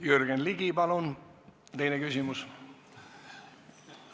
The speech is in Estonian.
Jürgen Ligi, palun teine küsimus!